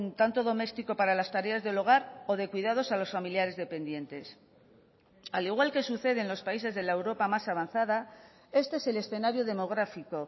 tanto doméstico para las tareas del hogar o de cuidados a los familiares dependientes al igual que sucede en los países de la europa más avanzada este es el escenario demográfico